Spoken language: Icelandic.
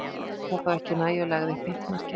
Hann lét það þó ekki nægja og lagði upp hitt markið.